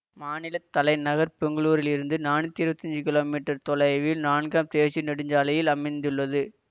மாநில தலைநகர் பெங்களூரில் இருந்து நானூத்தி இருபத்தி அஞ்சு கிமீ தொலைவில் நான்காம் தேசிய நெடுஞ்சாலையில் அமைந்துள்ளது